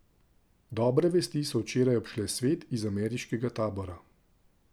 Dobre vesti so včeraj obšle svet iz ameriškega tabora.